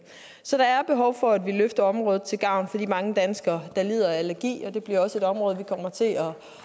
så der er behov for at vi løfter området til gavn for de mange danskere der lider af allergi og det bliver også et område vi kommer til at